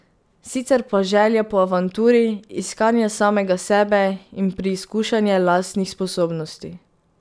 Sicer pa želja po avanturi, iskanje samega sebe in preizkušanje lastnih sposobnosti.